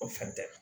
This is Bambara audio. O fɛn tɛ